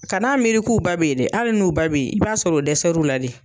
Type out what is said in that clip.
kan'a miiri k'u ba be ye dɛ, hali n'u ba be ye i b'a sɔr'o dɛsɛr'u la de.